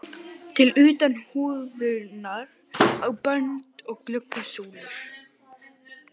til utan húðunar á bönd og glugga súlur.